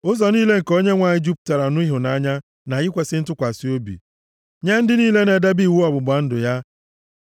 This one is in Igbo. Ụzọ niile nke Onyenwe anyị jupụtara nʼịhụnanya na ikwesi ntụkwasị obi, nye ndị niile na-edebe iwu ọgbụgba ndụ ya.